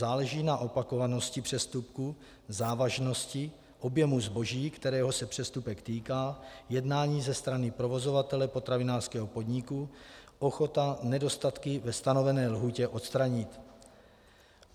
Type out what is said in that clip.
Záleží na opakovanosti přestupku, závažnosti, objemu zboží, kterého se přestupek týká, jednání ze strany provozovatele potravinářského podniku, ochota nedostatky ve stanovené lhůtě odstranit.